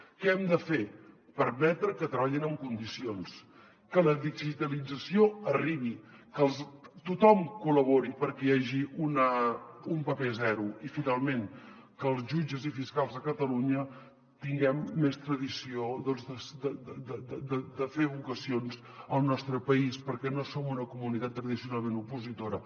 què hem de fer permetre que treballin en condicions que la digitalització arribi que tothom col·labori perquè hi hagi un paper zero i finalment que els jutges i fiscals de catalunya tinguem més tradició de fer vocacions al nostre país perquè no som una comunitat tradicionalment opositora